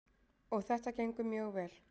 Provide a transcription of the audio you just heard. Og þetta gengur mjög vel.